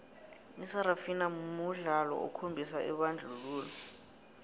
isarafina mudlolo okhombisa ibandlululo